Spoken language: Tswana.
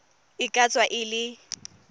e ka tswa e le